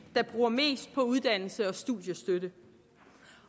der bruger mest på uddannelse og studiestøtte